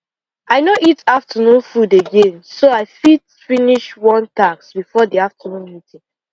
i no eat afternoon food again so i fit finish one task before the afternoon meeting